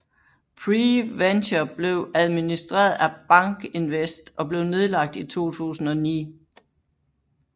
PreVenture blev administreret af BankInvest og blev nedlagt i 2009